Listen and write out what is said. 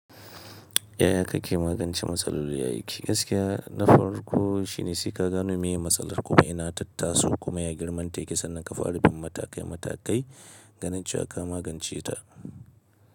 Yaya kake magance matsaloli a aiki? Gaskiya na farko shine sai ka gano meye matsalar kuma ina ta taso kuma ya girman ta yake sannan ka faɗi bin matakai matakai ganin cewa ka magance ta.